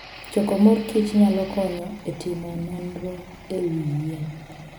Choko mor kich nyalo konyo e timo nonro e wi yien.